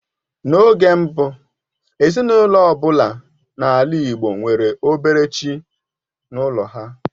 N'oge mbụ, ezinaụlọ ọ bụla n'ala Igbo nwere obere chi n'ụlọ ha.